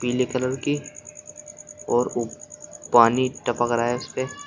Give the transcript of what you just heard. पीले कलर की और उ पानी टपक रहा है उस पे।